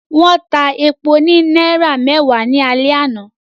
Wọ́n ta epo ní náírà mẹ́wàá ní alẹ́ àná